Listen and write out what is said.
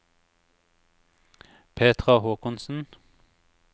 Petra Håkonsen